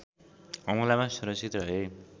हमलामा सुरक्षित रहे